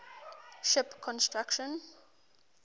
ship construction